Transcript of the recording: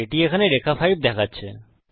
এটি এখানে রেখা 5 দেখাচ্ছে